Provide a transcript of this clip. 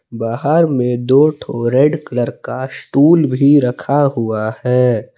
बाहर में दो ठो रेड कलर का स्टूल भी रखा हुआ है।